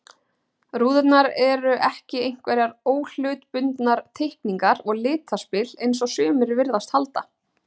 Rúðurnar eru ekki einhverjar óhlutbundnar teikningar og litaspil, eins og sumir virðast halda.